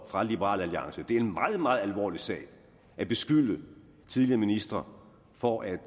fra liberal alliance det er en meget meget alvorlig sag at beskylde tidligere ministre for at